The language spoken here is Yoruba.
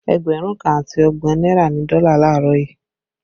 Ẹgbẹ̀rún kan àti ọgbọ̀n náírà ni dọ́là laarọ yuu